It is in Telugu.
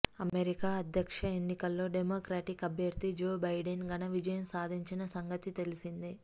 అమెరికా అధ్యక్ష ఎన్నికల్లో డెమొక్రాటిక్ అభ్యర్ధి జో బైడెన్ ఘన విజయం సాధించిన సంగతి తెలిసిందే